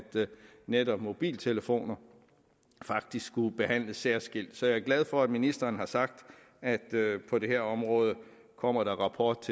netop mobiltelefoner skulle behandles særskilt så jeg er glad for at ministeren har sagt at på det her område kommer der en rapport